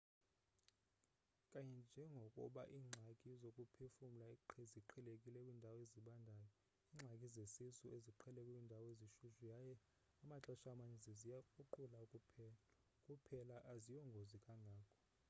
kanye njengokuba iingxaki zokuphefumla ziqhelekile kwiindawo ezibandayo iingxaki zesisu ziqhelekile kwiindawo ezishushu yaye amaxesha amaninzi ziyakruqula kuphela aziyongozi kangako